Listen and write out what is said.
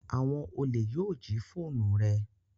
Awon ole yoo ji foonu re